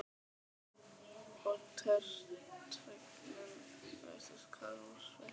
Og tortryggnin virtist hverfa úr svipnum.